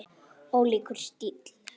Ólíkur stíll.